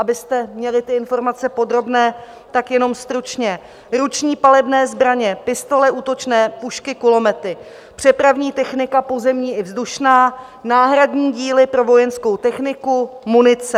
Abyste měli ty informace podrobné, tak jenom stručně: ruční palebné zbraně, pistole útočné, pušky, kulomety, přepravní technika pozemní i vzdušná, náhradní díly pro vojenskou techniku, munice.